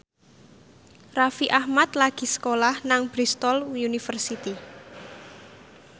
Raffi Ahmad lagi sekolah nang Bristol university